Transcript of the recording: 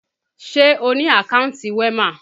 Ṣé o ni àkántì WEMA?